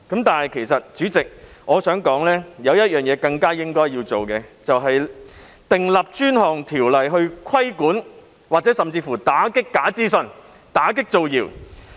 但是，主席，我想說的是有一件更需要我們去做的事情，那就是訂立專項條例來規管——甚至乎打擊——假資訊以打擊造謠。